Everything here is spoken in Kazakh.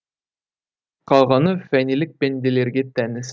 қалғаны фәнилік пенделерге тән іс